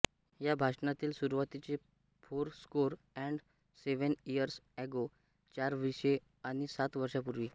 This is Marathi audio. या भाषणातील सुरुवातीचे four score and seven years ago चार वीसे आणि सात वर्षांपूर्वी